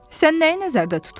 Sən nəyi nəzərdə tutursan?